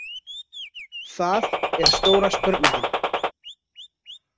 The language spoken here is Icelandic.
Það er stóra spurningin.